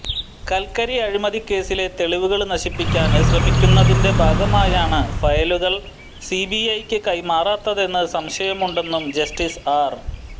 കല്ക്കരി അഴിമതിക്കേസിലെ തെളിവുകള് നശിപ്പിക്കാന് ശ്രമിക്കുന്നതിന്റെ ഭാഗമായാണ് ഫയലുകള് സിബിഐക്ക് കൈമാറാത്തതെന്ന് സംശയമുണ്ടെന്നും ജസ്റ്റീസ് ആര്